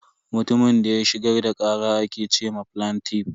Mutumin da ya shigar da kara ake ce ma flantiff.